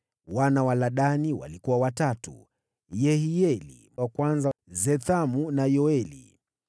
Wana wa Ladani walikuwa watatu: Yehieli wa kwanza, Zethamu na Yoeli.